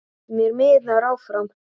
Mér miðar áfram.